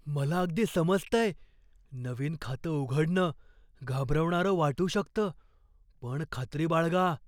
मला अगदी समजतंय. नवीन खातं उघडणं घाबरवणारं वाटू शकतं, पण खात्री बाळगा.